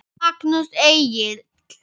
Magnús Egill.